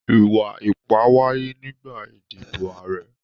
Ìwà-ipá wáyé nígbà ìdìbò ààrẹ.